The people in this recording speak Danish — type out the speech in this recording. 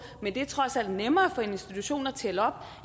men det er trods alt nemmere for institutionen at tælle op